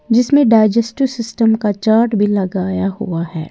जिसमें digestive system का chart भी लगाया हुआ है।